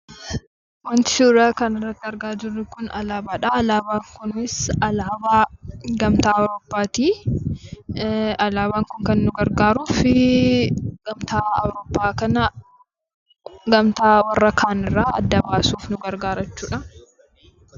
Wanti suuraa kanarratti argaa jirru kun, alaabaadha. Alaabaan kunis alaabaa gamtaa awuroopaati. Alaabaan kun kan nu gargaaruuf, gamtaa awuroopaa kana gamtaa warra kaanirraa adda baasuuf nu gargaara jechuudha.